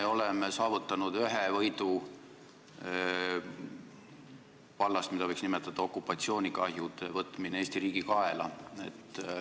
Me oleme saavutanud ühe võidu vallas, mida võiks nimetada "okupatsioonikahjude võtmine Eesti riigi kaela".